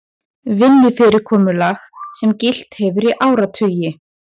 Vinnufyrirkomulag sem gilt hefur í áratugi